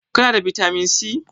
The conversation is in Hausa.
Kana da bitamin C?